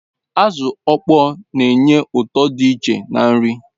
Azu okpoo n'enye uto di iche na nri